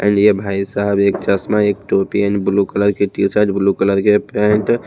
चलिए भाई साहब एक चश्मा एक टोपी एंड ब्लू कलर के टी शर्ट ब्लू कलर के पैंट --